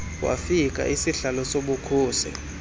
wafika isihlalo sobukhosi